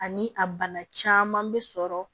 Ani a bana caman bɛ sɔrɔ